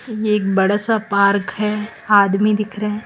ये एक बड़ा सा पार्क है आदमी दिख रहे--